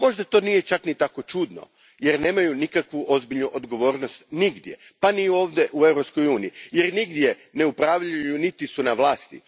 Možda to nije čak ni tako čudno jer nemaju nikakvu ozbiljnu odgovornost nigdje, pa ni ovdje u Europskoj uniji, jer nigdje ne upravljaju, niti su na vlasti.